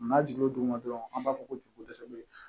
N'a jiginn'o duguma dɔrɔn an b'a fɔ ko jukutɛsɛ beyi